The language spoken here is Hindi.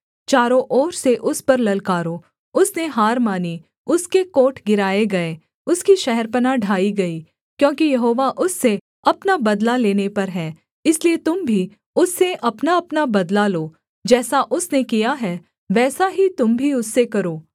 चारों ओर से उस पर ललकारो उसने हार मानी उसके कोट गिराए गए उसकी शहरपनाह ढाई गई क्योंकि यहोवा उससे अपना बदला लेने पर है इसलिए तुम भी उससे अपनाअपना बदला लो जैसा उसने किया है वैसा ही तुम भी उससे करो